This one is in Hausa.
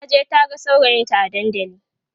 taje taha saurayinta a dandali